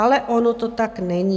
Ale ono to tak není.